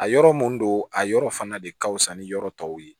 A yɔrɔ mun don a yɔrɔ fana de ka fusa ni yɔrɔ tɔw ye